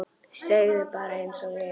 Segðu bara einsog er.